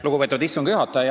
Lugupeetud istungi juhataja!